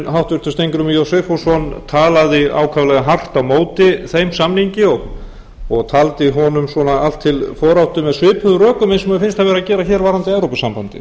háttvirtur þingmaður steingrímur j sigfússon talaði ákaflega hart á móti þeim samningi og taldi honum allt til foráttu með svipuðum rökum og mér finnst hann vera að gera hér varðandi evrópusambandið